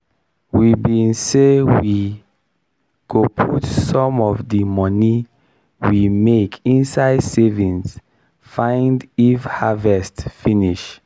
we bin say we go put some of di money we make inside savings find if harvest finish.